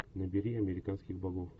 набери американских богов